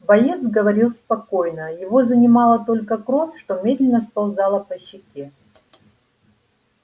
боец говорил спокойно его занимала только кровь что медленно сползала по щеке